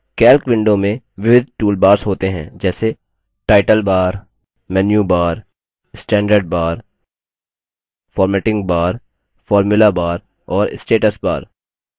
calc window में विविध toolbars होते हैं जैसेटाइटल bar menu bar standard bar formatting bar formula bar और status bar